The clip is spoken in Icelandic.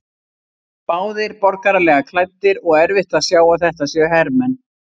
Báðir borgaralega klæddir og erfitt að sjá að þetta séu hermenn.